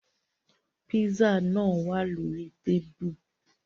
Pízzà nàa wạ̀ lórí tábìlì.